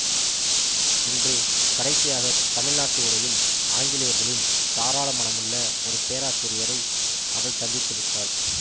இன்று கடைசியாகத் தமிழ்நாட்டு உடையில் ஆங்கிலேயர்களின் தாராள மனமுள்ள ஒரு பேராசிரியரை அவள் சந்தித்து விட்டாள்